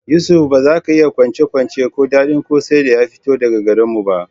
Yusuf, ba za ka iya kwacen-kwacen ko daɗin kwosai da ya fito daga garin mu ba